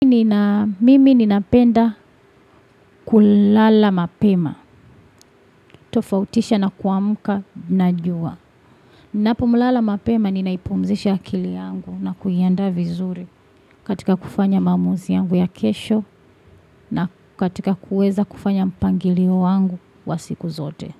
Mimi ninapenda kulala mapema, tofautisha na kuamka na jua. Ninapolala mapema ninaipumzisha akili yangu na kuiandaa vizuri, katika kufanya maamuzi yangu ya kesho. Na katika kuweza kufanya mpangilio wangu wa siku zote.